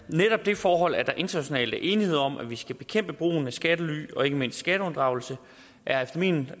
netop det forhold at der internationalt er enighed om at vi skal bekæmpe brugen af skattely og ikke mindst skatteunddragelse er efter min